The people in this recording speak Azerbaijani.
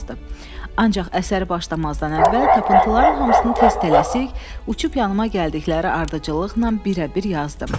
Ancaq əsəri başlamazdan əvvəl tapıntıların hamısını tez tələsik, uçub yanıma gəldikləri ardıcıllıqla birə-bir yazdım.